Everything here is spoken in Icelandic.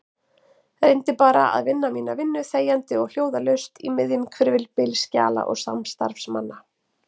Reyndi bara að vinna mína vinnu þegjandi og hljóðalaust í miðjum hvirfilbyl skjala og samstarfsmanna.